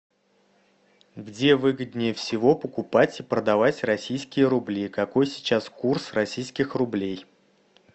где выгоднее всего покупать и продавать российские рубли какой сейчас курс российских рублей